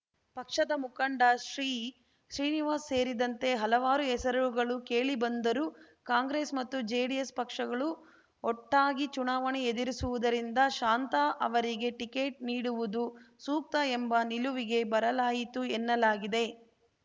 ಪಕ್ಷದ ಮುಖಂಡ ಶ್ರೀಶ್ರೀನಿವಾಸ್‌ ಸೇರಿದಂತೆ ಹಲವಾರು ಹೆಸರುಗಳು ಕೇಳಿಬಂದರೂ ಕಾಂಗ್ರೆಸ್‌ ಮತ್ತು ಜೆಡಿಎಸ್‌ ಪಕ್ಷಗಳು ಒಟ್ಟಾಗಿ ಚುನಾವಣೆ ಎದುರಿಸುವುದರಿಂದ ಶಾಂತಾ ಅವರಿಗೆ ಟಿಕೆಟ್‌ ನೀಡುವುದು ಸೂಕ್ತ ಎಂಬ ನಿಲವಿಗೆ ಬರಲಾಯಿತು ಎನ್ನಲಾಗಿದೆ